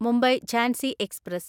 Mumbai Jhansi express